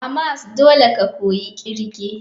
A mas dole ka koyi irge.